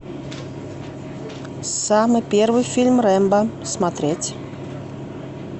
самый первый фильм рэмбо смотреть